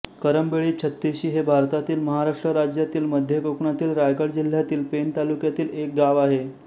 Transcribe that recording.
करंबेळी छत्तिशी हे भारतातील महाराष्ट्र राज्यातील मध्य कोकणातील रायगड जिल्ह्यातील पेण तालुक्यातील एक गाव आहे